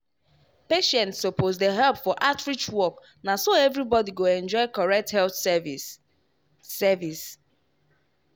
patients suppose dey help for outreach work na so everybody go enjoy correct health service. service.